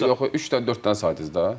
Yox, üç dənə, dörd dənə saydınız da.